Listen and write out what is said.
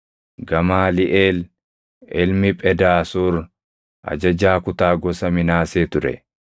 Gamaaliʼeel ilmi Phedaasuur ajajaa kutaa gosa Minaasee ture;